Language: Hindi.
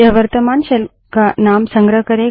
यह वर्त्तमान शेल का नाम संग्रह करेगा